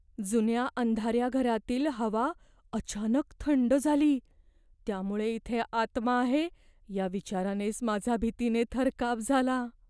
जुन्या अंधाऱ्या घरातील हवा अचानक थंड झाली, त्यामुळे इथे आत्मा आहे या विचारानेच माझा भीतीने थरकाप झाला.